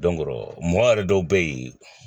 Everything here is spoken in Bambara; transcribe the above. mɔgɔ yɛrɛ dɔw be yen